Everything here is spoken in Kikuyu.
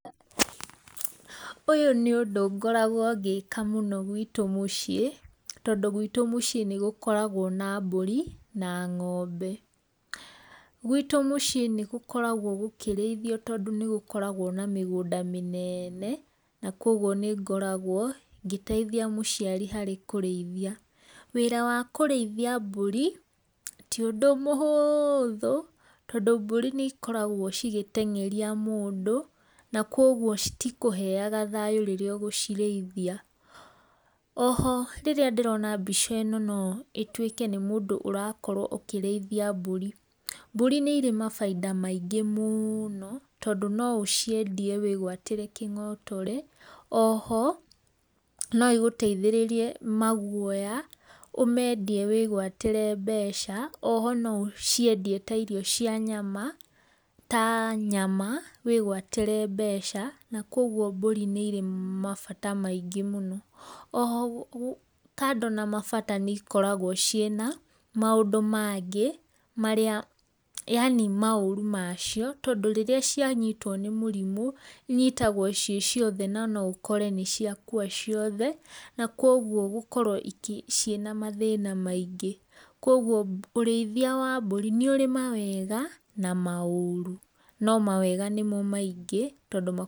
Ũyũ nĩ ũndũ ngoragwo ngĩka mũno gwĩtũ mũciĩ, tondũ gwĩtũ mũciĩ nĩ gũkoragwo na mbũri na ng'ombe. Gwĩtũ mũciĩ nĩ gũkoragwo gũkĩrĩithio tondũ nĩ gũkoragwo na mĩgũnda mĩnene na kũoguo nĩ ngoragwo ngĩteithia mũciari harĩ kũrĩithia. Wĩra wa kũrĩithia mbũri ti ũndũ mũhũthũ tondũ mbũri nĩ cikoragwo cigĩteng'eria mũndũ na koguo citikũheaga thayũ rĩrĩa ũgũcirĩithia. Oho rĩrĩa ndĩrona mbica ĩno no ĩtuĩke nĩ mũndũ ũrakorwo akĩrĩithia mbũri. Mbũri nĩ irĩ mabainda maingĩ mũno tondũ no ũciendie wĩgwatĩre kĩng'otore, oho, no ĩgũtethĩrĩrie maguoya, ũmendie wĩgwatĩre mbeca, oho na ũciendie ta irio cia nyama, ta nyama, wĩgwatĩre mbeca na koguo mbũri nĩ irĩ mabata maingĩ mũno. Oho kando na mabata nĩ ikoragwo ciĩna maũndũ mangĩ, marĩa, yani maũru macio tondũ rĩrĩa cianyitwo nĩ mũrimũ, cinyitagwo ciĩ ciothe no noũkore nĩ ciakua ciothe na koguo gũkorwo ciĩna mathĩna maingĩ. Koguo ũrĩithia wa mbũri nĩ ũrĩ na mawega na maũru no mawega nĩmo maingĩ tondũ…